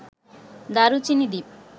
দারুচিনি দ্বীপ